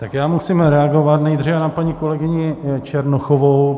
Tak já musím reagovat nejdříve na paní kolegyni Černochovou.